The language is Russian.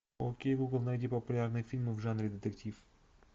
окей гугл найди популярные фильмы в жанре детектив